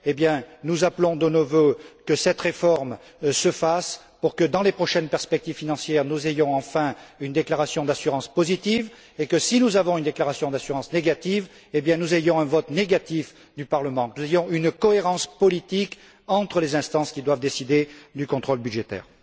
Eh bien, nous appelons de nos vœux que cette réforme se fasse pour que, dans les prochaines perspectives financières, nous ayons enfin une déclaration d'assurance positive et que, si nous avons une déclaration d'assurance négative, nous ayons un vote négatif du Parlement, de manière à avoir une cohérence politique entre les instances qui doivent décider du contrôle budgétaire.